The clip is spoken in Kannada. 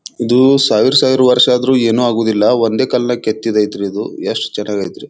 ಇದು ಸಾವಿರ ಸಾವಿರ ವರ್ಷ ಆದ್ರೂ ಏನು ಆಗುದಿಲ್ಲ ಒಂದೇ ಕಲ್ಲಿನಾಗ ಕೆತ್ತಿದ್ ಐತ್ರಿ ಇದು ಯೆಸ್ಟ್ ಚೆನ್ನಾಗ್ ಅಯ್ತ್ರಿ.